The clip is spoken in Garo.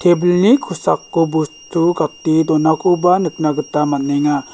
tebilni kosako bostu gate donakoba nikna gita man·enga.